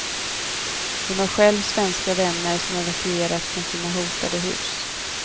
Hon har själv svenska vänner som evakuerats från sina hotade hus.